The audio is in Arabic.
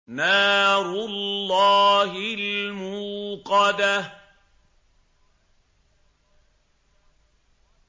نَارُ اللَّهِ الْمُوقَدَةُ